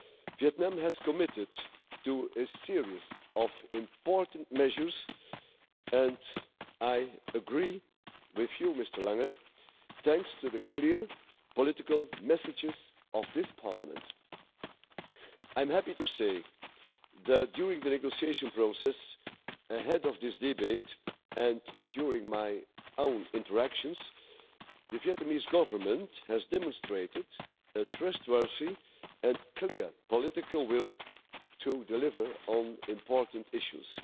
Vietnam has committed to a series of important measures, and I agree with you, Mr Lange thanks to the clear political messages of this Parliament, I'm happy to say that during the negotiation process ahead of this debate and during my own interactions, the Vietnamese Government has demonstrated a trustworthy and clear political will to deliver on important issues.